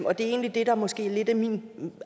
og det er egentlig det der måske lidt er min